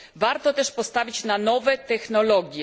Warto też postawić na nowe technologie.